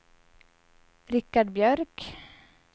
Richard Björk